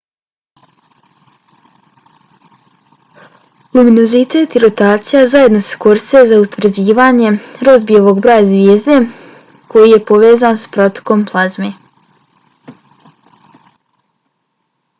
luminozitet i rotacija zajedno se koriste za utvrđivanje rozbijevog broja zvijezde koji je povezan sa protokom plazme